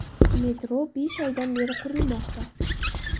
Metro besh oydan beri qurilmoqda.